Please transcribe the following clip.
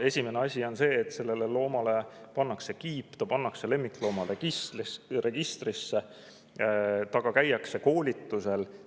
Esimene asi on see, et sellele loomale pannakse kiip, ta pannakse lemmikloomaregistrisse, temaga käiakse koolitusel.